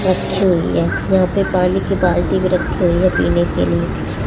रखी हुई है यहां पे पानी की बाल्टी भी रखी हुई है पीने के लिए।